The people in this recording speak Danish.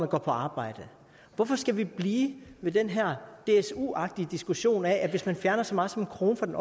går på arbejde hvorfor skal vi blive ved den her dsu agtige diskussion om at hvis man fjerner så meget som en krone fra den